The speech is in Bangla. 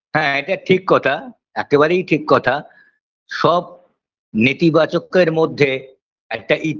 হ্যাঁ এটা ঠিক কথা একেবারেই ঠিক কথা সব নেতিবাচকের মধ্যে একটা ই